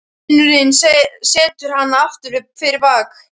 Vinurinn setur hana aftur fyrir bak.